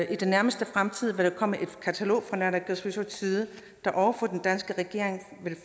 i den nærmeste fremtid vil der komme et katalog fra naalakkersuisuts side der over for den danske regering vil